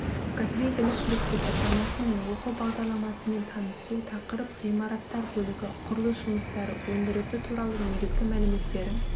кәсіби біліктілік сипаттамасы мен оқу бағдарламасымен танысу тақырып ғимараттар бөлігі құрылыс жұмыстары өндірісі туралы негізгі мәліметтері